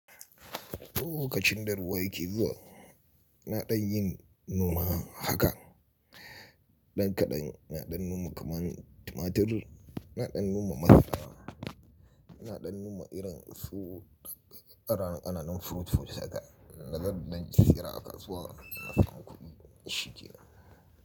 Duk lokacin da ruwa yake zuwa. Naɗan yin noma haka. Ɗan kaɗan naɗan noma kaman tumatir, naɗan noma masara, naɗan noma irin su ƙanana ƙananan fruit haka. Dazan ɗan siyar a kasuwa in ɗan samu kuɗi shikenan.